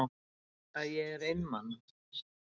Að ég er einmana.